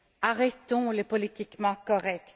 Arrêtons le politiquement correct!